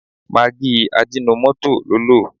Magí ajínomọ́tò ló lò.